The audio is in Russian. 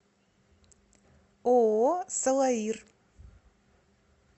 ооо салаир